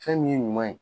Fɛn min ye ɲuman ye